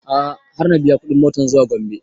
A'a har na biya kuɗin motan zuwa gombe